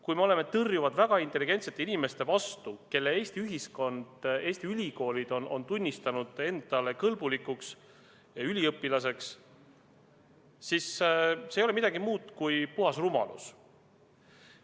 Kui me oleme tõrjuvad väga intelligentsete inimeste suhtes, kelle Eesti ühiskond, Eesti ülikoolid on tunnistanud üliõpilaseks kõlblikuks, siis see ei ole midagi muud kui puhas rumalus.